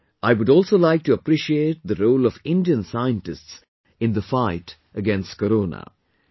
Today, I would also like to appreciate the role of Indian scientists in the fight against Corona